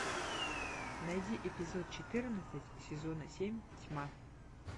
найди эпизод четырнадцать сезона семь тьма